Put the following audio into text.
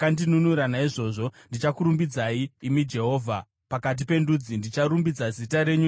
Naizvozvo ndichakurumbidzai, imi Jehovha, pakati pendudzi; ndicharumbidza zita renyu nenziyo.